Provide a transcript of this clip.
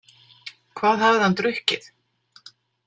Hvað hafði hann drukkið?